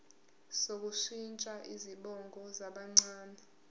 sokushintsha izibongo zabancane